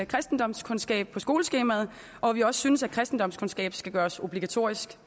kristendomskundskab på skoleskemaet og at vi også synes kristendomskundskab skal gøres obligatorisk